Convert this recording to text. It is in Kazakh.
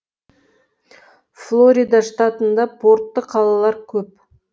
флорида штатында портты қалалар көп